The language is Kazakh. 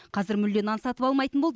қазір мүлде нан сатып алмайтын болды